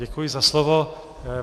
Děkuji za slovo.